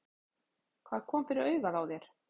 Hvað kom fyrir augað á þér?